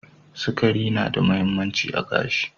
Sakari na da mahimmanci a gashi.